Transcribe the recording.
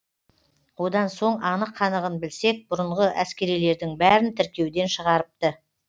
одан соң анық қанығын білсек бұрынғы әскерилердің бәрін тіркеуден шығарыпты